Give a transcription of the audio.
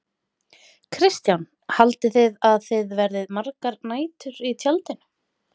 Kristján: Haldið þið að þið verðið margar nætur í tjaldinu?